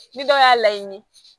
Ni dɔw y'a laɲini